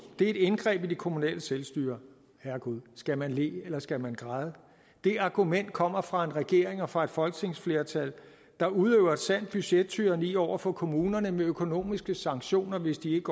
et indgreb i det kommunale selvstyre herregud skal man le eller skal man græde det argument kommer fra en regering og fra et folketingsflertal der udøver et sandt budgettyranni over for kommunerne med økonomiske sanktioner hvis de